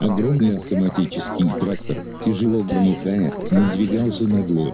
огромный автоматический трактор тяжело громыхая надвигался на глорию